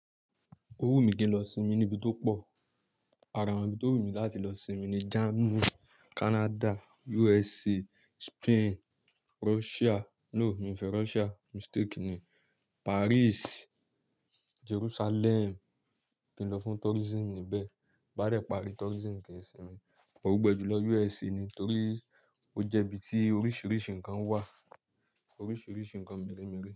Owú mi kì n lọ sinmi níbi tó pọ̀. Àrà ibí tó wù mí láti lọ sinmi ni Germany, Canada, USA, Spain, Russia. No, mi ò fẹ́ Russia, mistake ni. Paris, Jerusalem, kí n lọ fún tourism níbẹ̀. Bí n bá dẹ̀ parí, tourism kì í sinmi. But gbogbo ẹ jùlọ USA ni torí ó jẹ́ ibi tí oríṣìíríṣìí nǹkan wà, oríṣìíríṣìí nǹkan mẹ́rẹ̀ẹ́mẹ́rẹ̀.